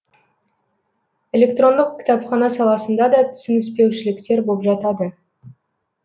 электрондық кітапхана саласында да түсініспеушіліктер боп жатады